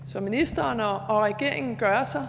som ministeren og regeringen gør sig